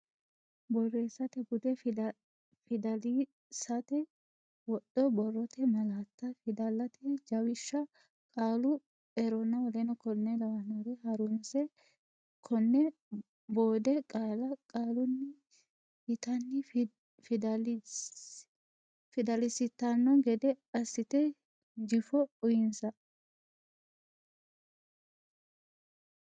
Borreessate Bude fidalsate wodho borrote malaatta fidalete jawishsha qaalu eronna w k l Ha runsi keeno Boode qaalla qaalunni yitanni fidalsitanno gede assite jifo uynsa.